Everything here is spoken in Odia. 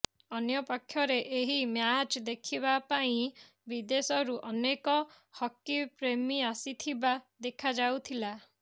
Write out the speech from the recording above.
ଅନ୍ୟପକ୍ଷରେ ଏହି ମ୍ୟାଚ୍ ଦେଖିବା ପାଇଁ ବିଦେଶରୁ ଅନେକ ହକି ପ୍ରେମୀ ଆସିଥିବା ଦେଖାଯାଇଥିଲା